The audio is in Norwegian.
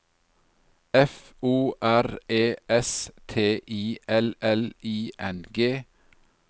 F O R E S T I L L I N G